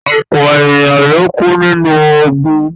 Ọpọ̀ èèyàn ló kú nínú ogùn